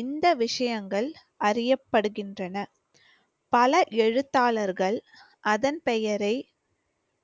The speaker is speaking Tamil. இந்த விஷயங்கள் அறியப்படுகின்றன. பல எழுத்தாளர்கள் அதன் பெயரை